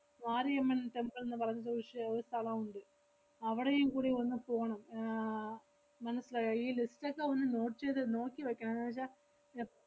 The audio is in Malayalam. മാരിയമ്മൻ temple ന്ന് പറഞ്ഞിട്ടൊരു ക്ഷേ~ ഒരു സ്ഥലവുണ്ട്. അവടെയും കൂടി ഒന്ന് പോണം. ആഹ് മനസ്സിലായോ ഈ list ഒക്കെ ഒന്ന് note ചെയ്ത് നോക്കി വെക്കണം. ന്നുവെച്ചാ എ~